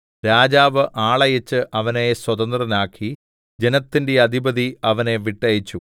രാജാവ് ആളയച്ച് അവനെ സ്വതന്ത്രനാക്കി ജനത്തിന്റെ അധിപതി അവനെ വിട്ടയച്ചു